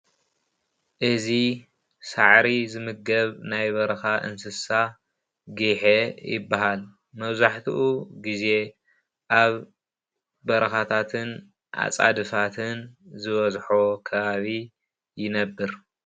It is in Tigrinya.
እዚ ሳዕሪ ዝምገብ ናይ በረካ እንስሳ ጊሐ ይባሃል፣ መብዛሕትኡ ግዜ ኣብ በረካታትን ኣፃድፍን ዝበዝሖ ከባቢ ይነብር፡፡